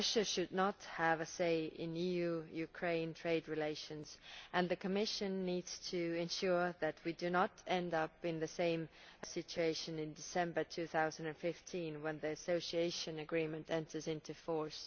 Russia should not have a say in EU Ukraine trade relations, and the Commission needs to ensure that we do not end up in the same situation in December 2015 when the Association Agreement enters into force.